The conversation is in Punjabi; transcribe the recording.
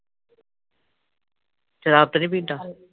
ਸ਼ਰਾਬ ਤੇ ਨੀ ਪੀਂਦਾ